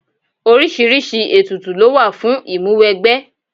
Oríṣiríṣi ètùtù lówà fún ìmúwẹgbẹ́.